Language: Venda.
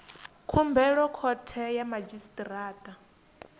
khumbelo khothe ya madzhisi ṱira